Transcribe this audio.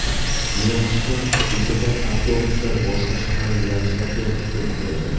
Yo‘nalishdan bo‘shagan avtobuslar boshqa shahar yo‘nalishlariga biriktirildi.